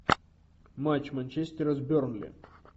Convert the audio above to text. матч манчестера с бернли